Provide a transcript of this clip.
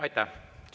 Aitäh!